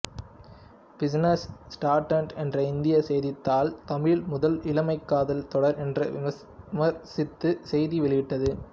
business Standard என்ற இந்திய செய்தித்தாள் தமிழில் முதல் இளமை காதல் தொடர் என்று விமர்சித்து செய்தி வெளியிட்டது